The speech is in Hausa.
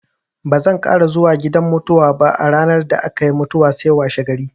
Bazan ƙara zuwa gidan mutuwa ba a ranar da aka yi mutuwar sai washegari.